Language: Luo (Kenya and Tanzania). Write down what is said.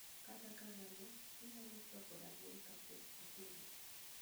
Kata kamano, inyalo chwako rabuon kapok itede